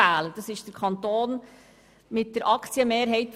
Der Kanton kann nicht sehr viel sagen.